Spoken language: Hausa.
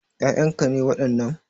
Ƴaƴan ka ne wadannan?